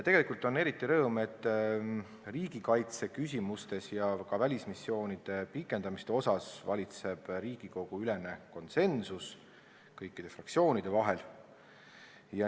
Tegelikult on eriti suur rõõm, et riigikaitseküsimustes ja ka välismissioonide pikendamiste suhtes valitseb Riigikogu-ülene konsensus kõikide fraktsioonide vahel.